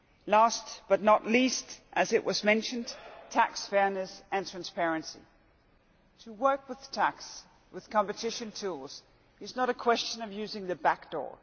Last, but not least, as was mentioned, tax fairness and transparency. To work with tax, with competition tools, is not a question of using the back door.